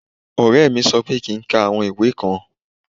Ore mí sọ pé kí ń ká àwọn ìwé kan.